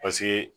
Paseke